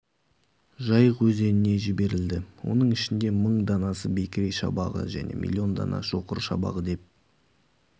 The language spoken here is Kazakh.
жайық өзеніне жіберілді оның ішінде мың данасы бекіре шабағы және млн дана шоқыр шабағы деп